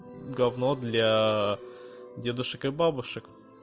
гавно для дедушек и бабушек